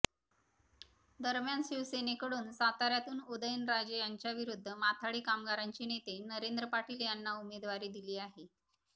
दरम्यान शिवसेनेकडून साताऱ्यातून उदयनराजे यांच्याविरुद्ध माथाडी कामगारांचे नेते नरेंद्र पाटील यांना उमेदवारी दिली आहे